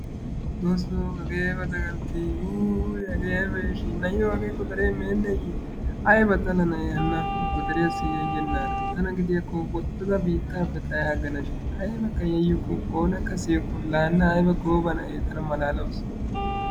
xoosoo hagee aybba dagantii wuuwuy hagee aybba yashii na'iyo hagee godaree meeneeye ayba xala na'ee hana. godariyaasi yayenara tana gidiyaakko woxada xayaaganashin aybakka yayuku oonakka siyukku laa hana aybba gooba na'ee tana malaalawusu.